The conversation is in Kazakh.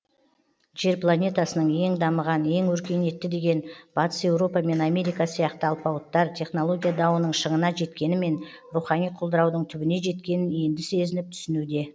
жер планетасының ең дамыған ең өркениетті деген батыс еуропа мен америка сияқты алпауыттар технология дауының шыңына жеткенімен рухани құлдыраудың түбіне жеткенін енді сезініп түсінуде